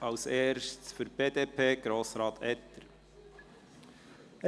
Zuerst für die BDP: Grossrat Etter.